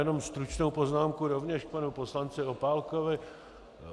Jenom stručnou poznámku rovněž k panu poslanci Opálkovi.